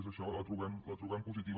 és això la trobem positiva